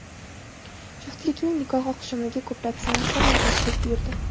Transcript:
Juftlikning nikoh oqshomiga ko‘plab san’atkorlar tashrif buyurdi.